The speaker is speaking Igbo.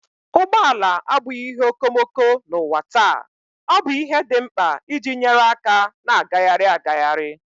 Ụgbọ ala abụghị ihe okomoko n'ụwa taa, ọ bụ ihe dị mkpa iji nyere aka na-agagharị agagharị.